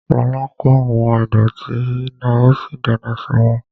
Lọlá kó àwọn ìdọ̀ọ̀tí náà ó sì dáná sun wọ́n